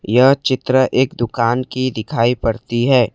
यह चित्र एक दुकान की दिखाई पड़ती है।